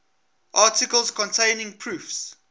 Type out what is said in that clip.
articles containing proofs